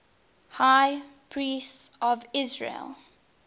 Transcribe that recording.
high priests of israel